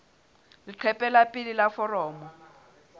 leqephe la pele la foromo